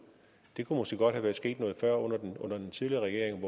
det kunne måske godt være sket noget før under den tidligere regering